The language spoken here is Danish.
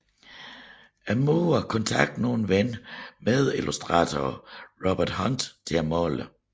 Muren kontaktede nu en ven og medillustrator Robert Hunt til at male det